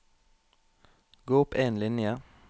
Gå opp en linje